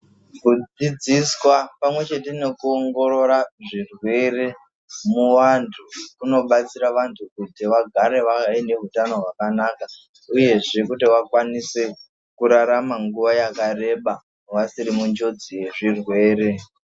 Kudzidziswa pamwe chete nekuongorora zvirwere muvantu, kunobatsira vantu kuti vagare vaine hutano hwakanaka, uyezve kuti vakwanise kurarama nguwa yakareba, vasiri munjodzi yezvirwere.